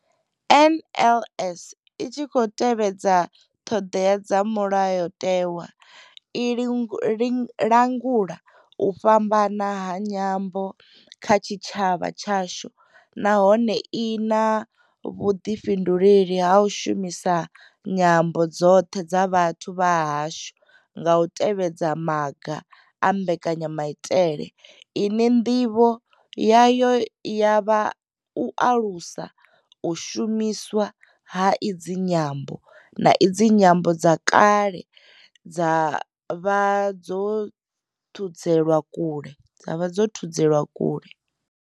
NLS I tshi khou tevhedza ṱhodea dza Mulayo tewa, i langula u fhambana ha nyambo kha tshitshavha tshashu nahone I na vhuḓifhinduleli ha u shumisa nyambo dzoṱhe dza vhathu vha hashu nga u tevhedza maga a mbekanya maitele ine ndivho yayo ya vha u alusa u shumiswa ha idzi nyambo, na idzo nyambo dze kale dza vha dzo thudzelwa kule.